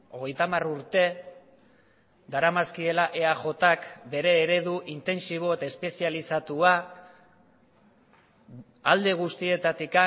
hogeita hamar urte daramazkiela eajk bere eredu intentsibo eta espezializatua alde guztietatik